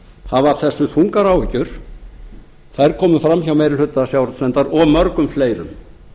hafa af þessu þungar áhyggjur þær komu fram hjá meiri hluta sjávarútvegsnefndar og mörgum fleirum